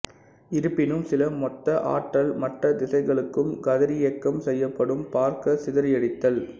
இருப்பினும் சில மொத்த ஆற்றல் மற்ற திசைகளுக்கும் கதிரியக்கம் செய்யப்படும் பார்க்க சிதறடித்தல்